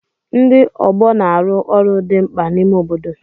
Ndi ọgbọ na-arụ ọrụ dị mkpa n'ime obodo.